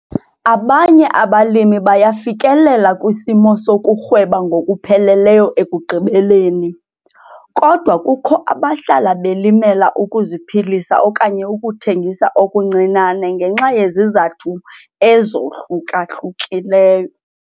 Abanye abalimi bayafikelela kwisimo sokurhweba ngokupheleleyo ekugqibeleni, kodwa kukho abahlala belimela ukuziphilisa okanye ukuthengisa okuncinane ngenxa yezizathu ezohluka-hlukileyo.